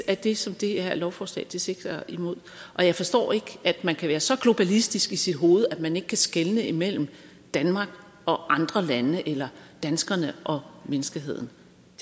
er det som det her lovforslag sigter imod og jeg forstår ikke at man kan være så globalistisk i sit hoved at man ikke kan skelne imellem danmark og andre lande eller danskerne og menneskeheden